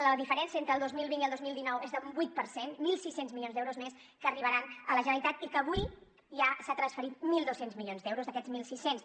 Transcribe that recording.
la diferència entre el dos mil vint i el dos mil dinou és d’un vuit per cent mil sis cents milions d’euros més que arribaran a la generalitat i avui ja s’han transferit mil dos cents milions d’euros d’aquests mil sis cents